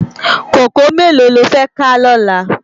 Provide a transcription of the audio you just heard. Kókòó méló ló fè ká lòlá?